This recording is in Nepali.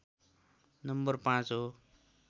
नम्बर ५ हो